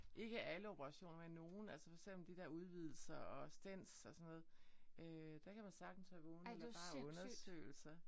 Ikke alle operationer men nogen. Altså for eksempel de der udvidelser og stens og sådan noget øh der kan man sagtens være vågen eller bare undersøgelser